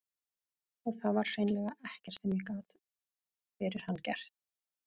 Og það var hreinlega ekkert sem ég gat fyrir hann gert.